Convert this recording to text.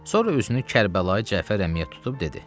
Sonra özünü Kərbəlayı Cəfər əmiyə tutub dedi: